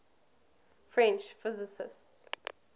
french physicists